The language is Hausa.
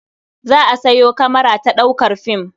Za a sayo kamara ta ɗaukar fim.